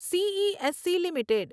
CESC limited